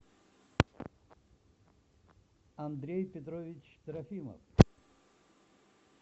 андрей петрович трофимов